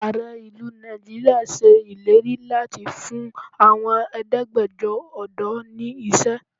Ààrẹ ìlú Nigeria ṣe ìlérí láti fún àwọn Ẹ̀ẹ́dẹ́gbẹjọ ọ̀dọ́ ni iṣẹ́.